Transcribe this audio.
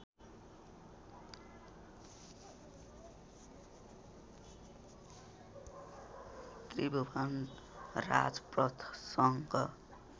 Tribhuvan राजपथसँग